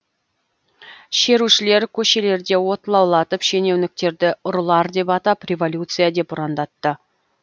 шерушілер көшелерде от лаулатып шенеуніктерді ұрылар деп атап революция деп ұрандатты